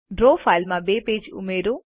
draw ફાઈલમાં બે page ઉમેરો